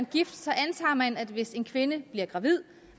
gift så antager man at hvis en kvinde bliver gravid